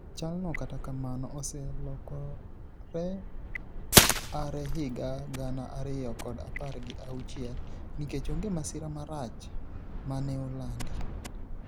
Chalno kata kamano oselokore aare higa gana ariyo kod apar gi auchiel nikech onge masira marach maneolandi